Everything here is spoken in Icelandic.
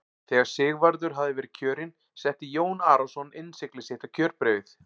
Þegar Sigvarður hafði verið kjörinn setti Jón Arason innsigli sitt á kjörbréfið.